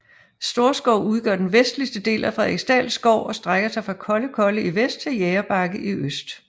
Storskov udgør den vestligste del af Frederiksdal Skov og strækker sig fra Kollekolle i vest til Jægerbakke i øst